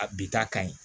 A bi ta ka ɲi